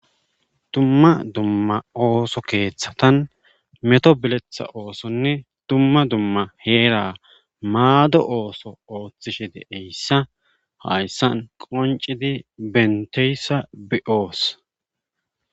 Dumma dumma ooso keeththatan meto biletha oosonne dumma dumma heera maado ooso ooththishe deeyssa hayssan qoncidi benteyssa bi7oos.